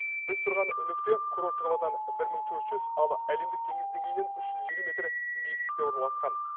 біз тұрған нүкте курорттық қаладан бір мың төрт жүз ал әлемдік теңіз деңгейінен үш жүз елу метр биіктікте орналасқан